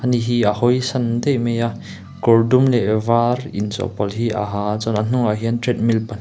ni hi a hawisawn daih mai a kawr dum leh var in chawhpawlh hi a ha a chuan a hnungah hian treadmill pa--